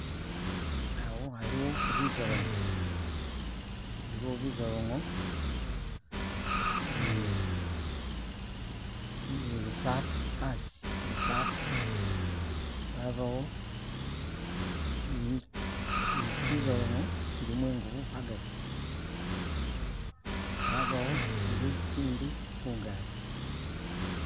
Awo aliwo bizolonyo biliwo bizolonyo ni lusampa hasi lusampa habawo ni kizolonyo kilimo engubo hagati habawo kili ikindi kungaji